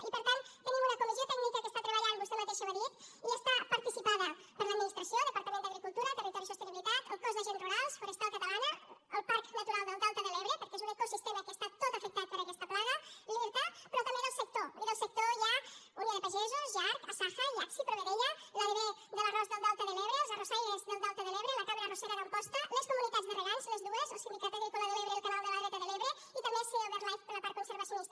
i per tant tenim una comissió tècnica que està treballant vostè mateixa ho ha dit i està participada per l’administració departament d’agricultura territori i sostenibilitat el cos d’agents rurals forestal catalana el parc natural del delta de l’ebre perquè és un ecosistema que està tot afectat per aquesta plaga l’irta però també pel sector i del sector hi ha unió de pagesos jarc asaja iacsi provedella l’adv de l’arròs del delta de l’ebre els arrossaires del delta de l’ebre la cambra arrossera d’amposta les comunitats de regants les dues el sindicat agrícola de l’ebre i el canal de la dreta de l’ebre i també seo birdlife per la part conservacionista